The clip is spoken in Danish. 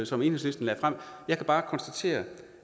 som enhedslisten lagde frem jeg kan bare konstatere